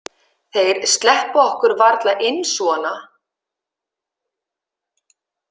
Þeir sleppa okkur varla inn svona?